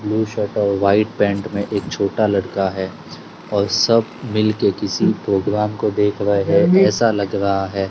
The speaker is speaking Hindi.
ब्लू शर्ट और व्हाइट पैंट में एक छोटा लड़का है और सब मिलके किसी प्रोग्राम को देख रहे ऐसा लग रहा है।